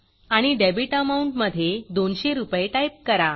आणि debit amount debit amount मधे 200 रूपये टाईप करा